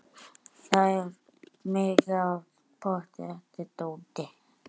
Það er mikið af pottþéttu dóti.